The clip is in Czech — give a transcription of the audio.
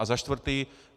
A za čtvrté.